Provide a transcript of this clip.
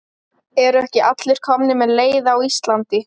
Eru ekki allir komnir með leið á Íslandi?